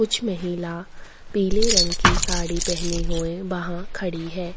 कुछ महिला पीले रंग की साड़ि पहनी हुई वहाँ खड़ी है।